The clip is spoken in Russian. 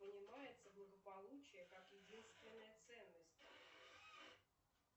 понимается благополучие как единственная ценность